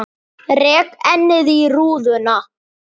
Rek ennið í rúðuna.